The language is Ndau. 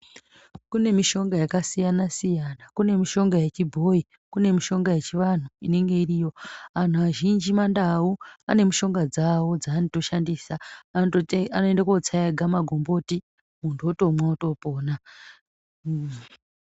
Kune mushonga yakasiyana siyana kune mushonga yechibhoyi kune mushonga yechivantu inene iriyo antu azhinji mandau ane mushonga dzawo dzaanotoshandisa anoenda kunotsa ega magomboti muntu otomwa otopona.